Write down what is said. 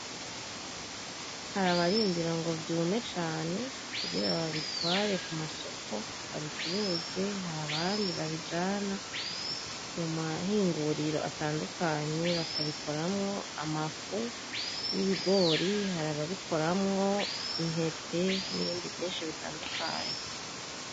Har'abarindira ngo vyume cane kugira babitware ku masoko babicuze, har'abandi babijana mu mahinguriro atandukanye bakabikoramwo amafu y'ibigori, hari ababikoramwo intete, n'ibindi vyinshi bitandukanye.